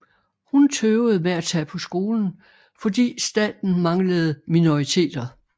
Hun tøvede med at tage på skolen fordi staten manglende minoriteter